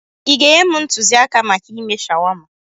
Ị ga-enye m ntụzịaka maka ime shawama?